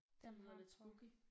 Det lyder lidt spooky